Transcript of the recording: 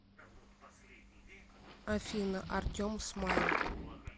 афина артем смайл